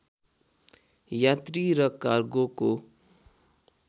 यात्री र कार्गोको